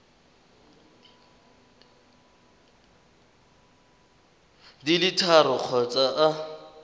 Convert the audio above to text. di le tharo kgotsa a